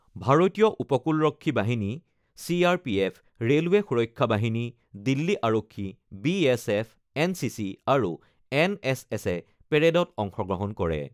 ভাৰতীয় উপকূলৰক্ষী বাহিনী C R P F, railway সুৰক্ষা বাহিনী, দিল্লী আৰক্ষী, B S F, N C C, আৰু এন এছ এছে পেৰেডত অংশগ্ৰহণ কৰে।